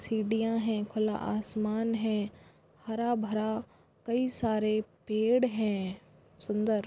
सीडिया है खुला आसमान है हरा भरा कई सारे पेड है सुंदर।